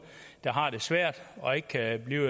der har det svært og ikke kan blive